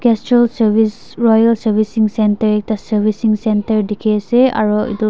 castrol service royal servicing center ekta servicing center dikhi ase aru etula.